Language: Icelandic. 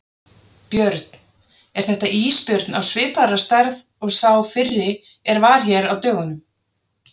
Björn: Er þetta ísbjörn á svipaðrar stærðar og sá fyrri er var hér á dögunum?